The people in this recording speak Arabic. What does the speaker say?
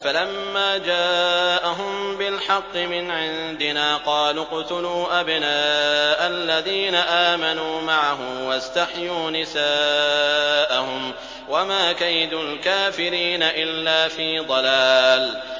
فَلَمَّا جَاءَهُم بِالْحَقِّ مِنْ عِندِنَا قَالُوا اقْتُلُوا أَبْنَاءَ الَّذِينَ آمَنُوا مَعَهُ وَاسْتَحْيُوا نِسَاءَهُمْ ۚ وَمَا كَيْدُ الْكَافِرِينَ إِلَّا فِي ضَلَالٍ